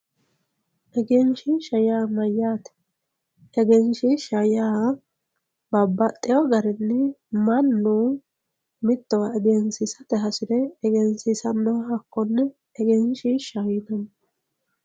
egenshiishsha yaa maayyaate? egenshiishsha yaa babbaxxeyo garinni mannu mittowa egensiisate hasire egensiisannowa hakkonne egenshiishshaho yinanni